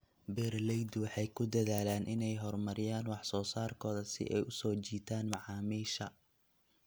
Beeraleydu waxay ku dadaalaan inay horumariyaan wax soo saarkooda si ay u soo jiitaan macaamiisha.